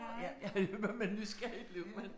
Ja, ja, men men nysgerrig blev man